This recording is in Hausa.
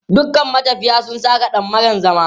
"Dukan matafiya su saka dammaran zama".